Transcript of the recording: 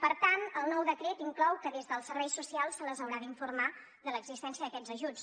per tant el nou decret inclou que des dels serveis socials se les haurà d’informar de l’existència d’aquests ajuts